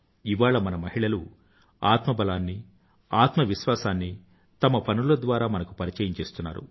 ఇవాళ మన మహిళలు అత్మబలాన్నీ ఆత్మ విశ్వాసాన్నీ తమ పనుల ద్వారా మనకు పరిచయం చేస్తున్నారు